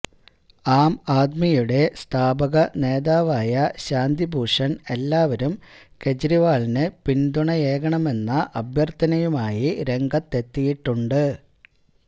ആം ആദ്മിയുടെ സ്ഥാപകനേതാവായ ശാന്തി ഭൂഷൺ എല്ലാവരും കേജ്രിവാളിന് പിന്തുണയേകണമെന്ന അഭ്യർത്ഥനയുമായി രംഗത്തെത്തിയിട്ടുണ്ട്